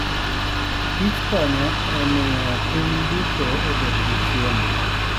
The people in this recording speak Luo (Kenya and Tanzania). kich konyo e miyo piny duto obed gi chiemo.